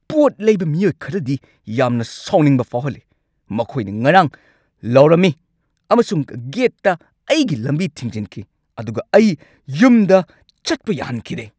ꯄꯣꯠ ꯂꯩꯕ ꯃꯤꯑꯣꯏ ꯈꯔꯗꯤ ꯌꯥꯝꯅ ꯁꯥꯎꯅꯤꯡꯕ ꯐꯥꯎꯍꯜꯂꯤ꯫ ꯃꯈꯣꯏꯅ ꯉꯔꯥꯡ ꯂꯥꯎꯔꯝꯃꯤ ꯑꯃꯁꯨꯡ ꯒꯦꯠꯇ ꯑꯩꯒꯤ ꯂꯝꯕꯤ ꯊꯤꯡꯖꯤꯟꯈꯤ, ꯑꯗꯨꯒ ꯑꯩ ꯌꯨꯝꯗ ꯆꯠꯄ ꯌꯥꯍꯟꯈꯤꯗꯦ!